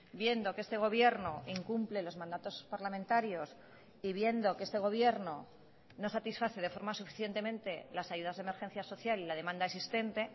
viendo que este gobierno incumple los mandatos parlamentarios y viendo que este gobierno no satisface de forma suficientemente las ayudas de emergencia social y la demanda existente